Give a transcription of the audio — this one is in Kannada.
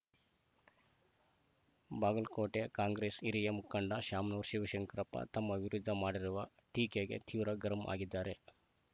ಬಾಗಲಕೋಟೆ ಕಾಂಗ್ರೆಸ್‌ ಹಿರಿಯ ಮುಖಂಡ ಶಾಮನೂರು ಶಿವಶಂಕರಪ್ಪ ತಮ್ಮ ವಿರುದ್ಧ ಮಾಡಿರುವ ಟೀಕೆಗೆ ತೀವ್ರ ಗರಂ ಆಗಿದ್ದಾರೆ